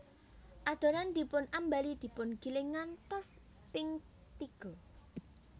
Adonan dipun ambali dipun giling ngantos ping tiga